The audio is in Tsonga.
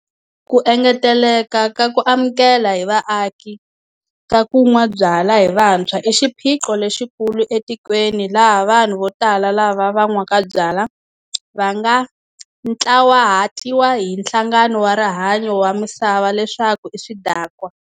Ku engeteleka ka ku amukela hi vaaki ka ku nwa byala hi vantshwa i xiphiqo lexikulu etikweni laha vanhu vo tala lava va nwaka byala va nga ntlawahatiwa hi Nhlangano wa Rihanyo wa Misava leswaku i swidakwa.